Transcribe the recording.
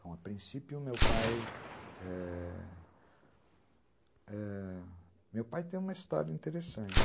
Então, a princípio, meu pai eh... eh... meu pai tem uma história interessante.